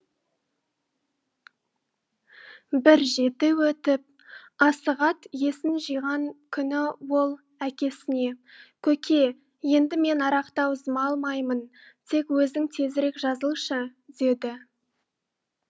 бір жеті өтіп асығат есін жиған күні ол әкесіне көке енді мен арақты аузыма алмаймын тек өзің тезірек жазылшы деді